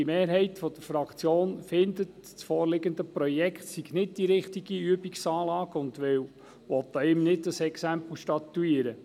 Eine Mehrheit der Fraktion findet, das vorliegende Projekt sei nicht die richtige Übungsanlage und will kein Exempel an diesem statuieren.